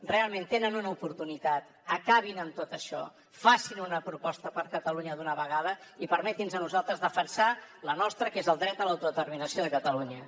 realment tenen una oportunitat acabin amb tot això facin una proposta per a catalunya d’una vegada i permetin nos a nosaltres defensar la nostra que és el dret a l’autodeterminació de catalunya